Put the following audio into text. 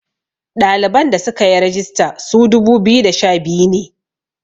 ɗaliban da suka yi regista su dubu biyu da sha biyu ne